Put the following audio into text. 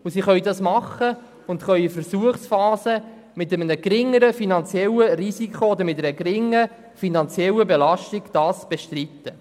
Sie können dies machen und eine Versuchsphase mit einem geringeren finanziellen Risiko oder einer geringeren finanziellen Belastung bestreiten.